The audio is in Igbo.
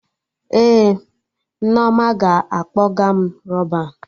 Ee, Nneoma ga-akpọga m Rọban